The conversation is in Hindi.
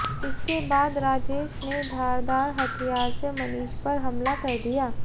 इसके बाद राजेश ने धारदार हथियार से मनीष पर हमला कर दिया